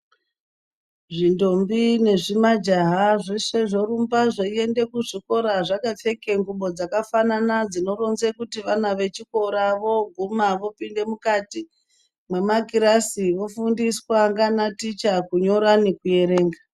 Zvindombi nezvimajaha zveshe zvorumba zveiyende kuzvikora zvakapfeke ngubo dzakafanana dzinoronze kuti vana vechikora voguma vopinde mukati mwemakirasi vofundiswa ngana ticha kunyora nekuerenga.